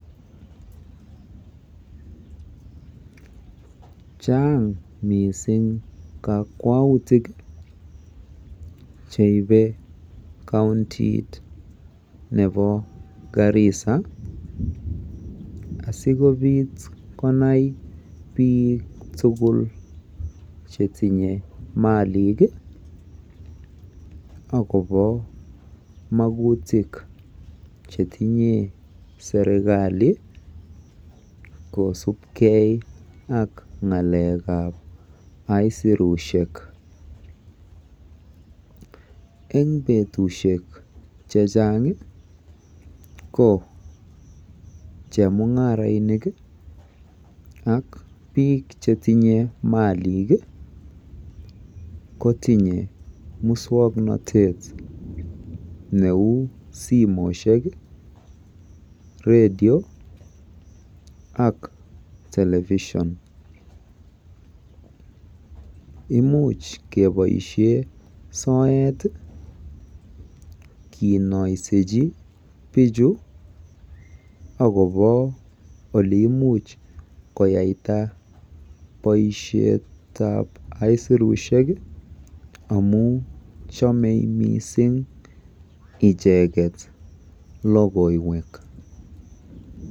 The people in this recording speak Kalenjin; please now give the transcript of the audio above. Chaang mising kakwautik cheibe kauntit nebo Garissa asikobiit konai biik tugul chetinye malik akobo makutik chetinye serikali kosubkei ak ng'alekeb aisirusiek. Eng betusiek chechang ko chemung'arainik ak biik chetinye malik kotinye muswoknotet neu simet, radio ak Television. Imuch keboisie soet kinoisechi bichu akoba oleimuch koyaita boisietab aisirusiek amu chamei mising icheget logoiwek.